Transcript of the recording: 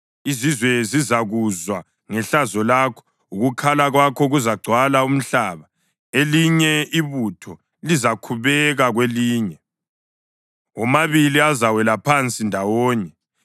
Izizwe zizakuzwa ngehlazo lakho; ukukhala kwakho kuzagcwala umhlaba. Elinye ibutho lizakhubeka kwelinye; womabili azawela phansi ndawonye.”